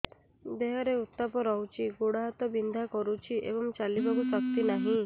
ଦେହରେ ଉତାପ ରହୁଛି ଗୋଡ଼ ହାତ ବିନ୍ଧା କରୁଛି ଏବଂ ଚାଲିବାକୁ ଶକ୍ତି ନାହିଁ